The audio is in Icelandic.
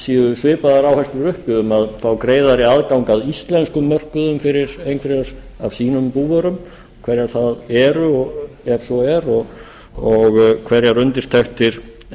séu svipaðar áherslur uppi um að fá greiðari aðgang að íslenskum mörkuðum fyrir einhverjar af sínum búvörum hverjar þær eru ef svo er og hverjar undirtektir